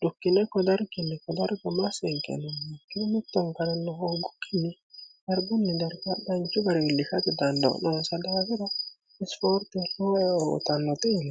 dukkine kodarkinni kodargomseenkennonn kiometonkalnno hooggukkinni harbunni darbadhanchu bariwiillifaci dannnnsa dgira isifoorti hotannote ne